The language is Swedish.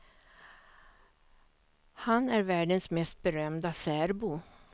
Han är världens mest berömda särbo.